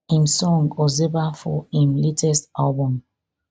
im song ozeba for im latest album